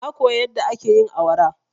Na koya yadda ake yin awara.